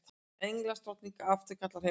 Englandsdrottning afturkallar heimboð